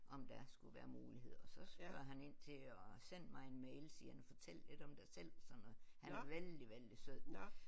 Om der skulle være muligheder og så spørger han ind til og send mig en mail siger han fortæl lidt om dig sådan og han er vældig vældig sød